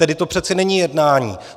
Tedy to přece není jednání.